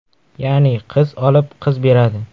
Ya’ni, qiz olib, qiz beradi.